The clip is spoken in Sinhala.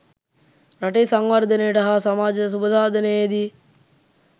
රටේ සංවර්ධනයට හා සමාජ සුභසාධනයේදී